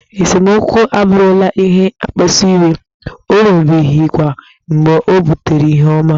Esemokwu abụrụla ihe mkpasu iwe, o nwebeghịkwa mgbe o butere ihe ọma.